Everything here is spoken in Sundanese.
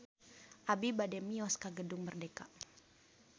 Abi bade mios ka Gedung Merdeka